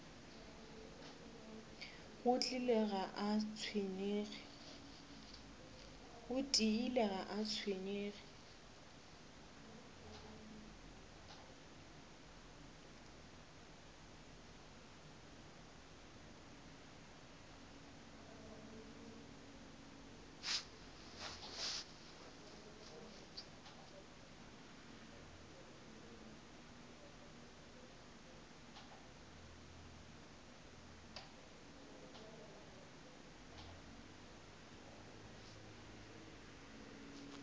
go tiile ga a tshwenyege